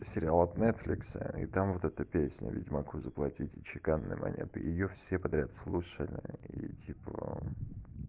сериал от нетфликса и там вот эту песню ведьмаку заплатите чеканной монеты её все подряд слушали и типа